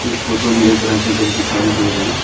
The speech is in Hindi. इस फोटो में एक बड़ा सा घर दिखाई दे रहा है।